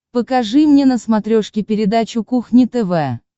покажи мне на смотрешке передачу кухня тв